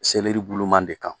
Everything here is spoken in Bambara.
Seleri buluman de kan